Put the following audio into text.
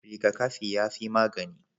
Rigakafi yafi magani